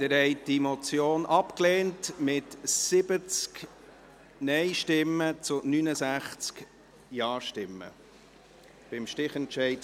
Sie haben die Motion abgelehnt, mit 70 Nein- zu 69 Ja-Stimmen, mit meinem Stichentscheid.